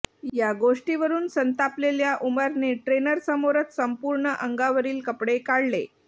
या गोष्टीवरून संतापलेल्या उमरने ट्रेनर समोरच संपूर्ण अंगावरील कपडे काढले